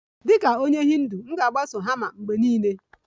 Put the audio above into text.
Dịka onye Hindu, m ga-agbaso dharma mgbe niile